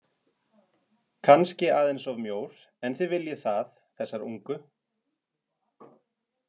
Kannski aðeins of mjór en þið viljið það, þessar ungu.